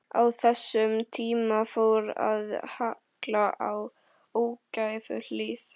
Á þessum tíma fór að halla á ógæfuhlið.